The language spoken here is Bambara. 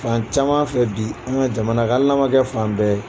Fan caman fɛ bi an ka jamana hali n'a kɛ fan bɛɛ ye